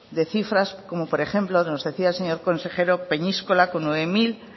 de cifras como por ejemplo nos decía el señor consejero peñíscola con nueve mil